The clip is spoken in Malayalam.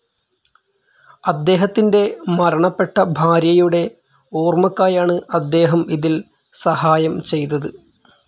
അദ്ദേഹത്തിന്റെ മരണപ്പെട്ട ഭാര്യയുടെ ഒര്മാക്കായാണ് അദ്ദേഹം ഇതിൽ സഹായം ചെയ്തത്.